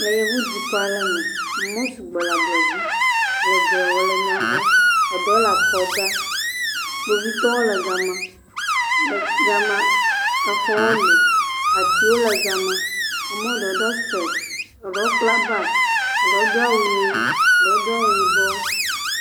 Le yevudukɔ aɖe me, amewo sɔgbɔ le ablɔ dzi le dzrewɔ le nyahe, eɖewo le akɔ da kpovitɔwo le gama. Gama exɔwo li, atiwo le gama, ame aɖewo ɖɔ sipeci eɖewo kpla bagi, eɖewo do awu ʋi eɖewo do awu yibɔ.